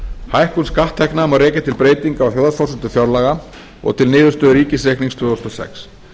hækkun skatttekna má rekja til breytinga á þjóðhagsforsendum fjárlaga og til niðurstöðu ríkisreiknings tvö þúsund og sex